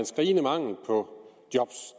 skrigende mangel på job